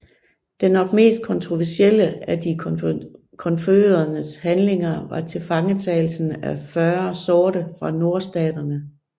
Den nok mest kontroversielle af de konfødereredes handlinger var tilfangetagelsen af 40 sorte fra Nordstaterne